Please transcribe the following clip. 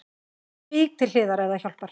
Vík til hliðar ef það hjálpar